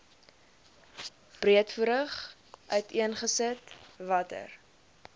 breedvoerig uiteengesit watter